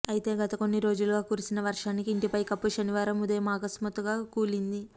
అయితే గత కొన్ని రోజులుగా కురిసిన వర్షానికి ఇంటి పైకప్పు శనివారం ఉదయం అకస్మాత్తుగా కూలింది